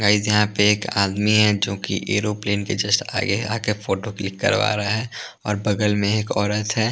Guys यहाँ पे एक आदमी है जोकि एरोप्लेन के जस्ट आगे आकर फोटो क्लिक करवा रहा है और बगल में एक औरत है।